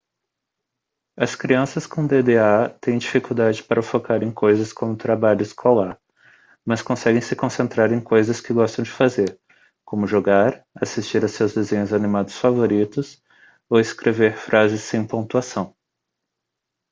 as crianças com dda têm dificuldade para focar em coisas como trabalho escolar mas conseguem se concentrar em coisas que gostam de fazer como jogar assistir a seus desenhos animados favoritos ou escrever frases sem pontuação